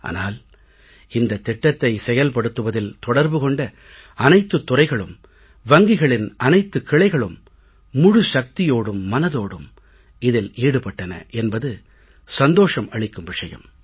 ஆனால் இந்தத் திட்டத்தை செயல்படுத்துவதில் தொடர்பு கொண்ட அனைத்துத் துறைகளும் வங்கிகளின் அனைத்துக் கிளைகளும் முழு சக்தியோடும் மனதோடும் இதில் ஈடுபட்டன என்பது சந்தோஷம் அளிக்கும் விஷயம்